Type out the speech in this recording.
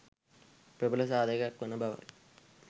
ප්‍රබල සාධකයක් වන බව යි.